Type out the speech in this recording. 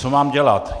Co mám dělat?